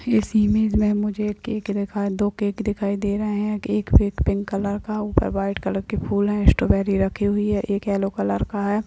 इस इमेज में मुझे एक केक दिखाई दो केक दिखाई दे रहें हैं एक केक पिंक कलर का ऊपर व्हाइट कलर के फूल हैं स्ट्रॉबेरी रखा हुआ हैएक येलो कलर का है।